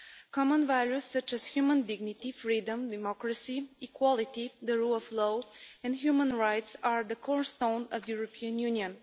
Common values, such as human dignity, freedom, democracy, equality, the rule of law and human rights, are the cornerstone of the European Union.